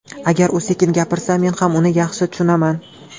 Agar u sekin gapirsa, men ham uni yaxshi tushunaman.